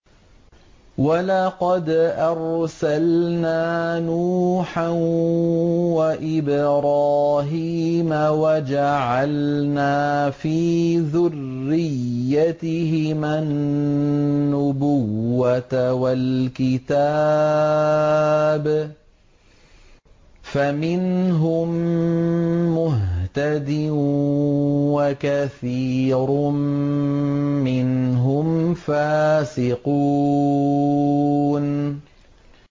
وَلَقَدْ أَرْسَلْنَا نُوحًا وَإِبْرَاهِيمَ وَجَعَلْنَا فِي ذُرِّيَّتِهِمَا النُّبُوَّةَ وَالْكِتَابَ ۖ فَمِنْهُم مُّهْتَدٍ ۖ وَكَثِيرٌ مِّنْهُمْ فَاسِقُونَ